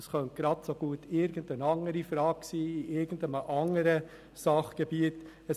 Das könnte genauso gut eine andere Frage zu irgendeinem Sachgebiet sein.